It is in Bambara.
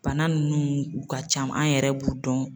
Bana nunnu ka u ca, an yɛrɛ b'u dɔn.